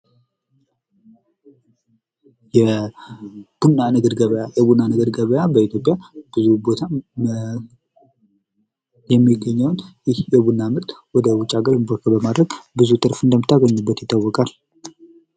የቡና ንግድ ገቢያ ። የቡና ንግድ ገቢያ በኢትዮጵያ ብዙ ቦታ የሚገኝ ነው ።ይህ የቡና ምርት ወደ ውጭ ሀገር ኢምፖርት በማድረግ ብዙ ትርፍ እንደምታገኝበት ይታወቃል ።